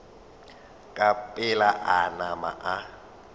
ka pela a nama a